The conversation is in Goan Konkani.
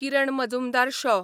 किरण मजुमदार शॉ